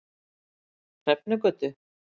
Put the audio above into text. Hrefnugötu